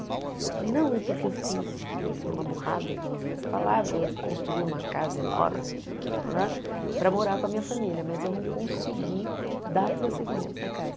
Ele falou, não, é porque eu fiz, enfim, uma burrada, ele não usou essa palavra, eu construí uma casa enorme para morar com a minha família, mas eu não consegui dar prosseguimento na casa.